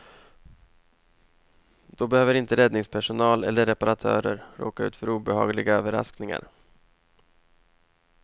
Då behöver inte räddningspersonal eller reparatörer råka ut för obehagliga överraskningar.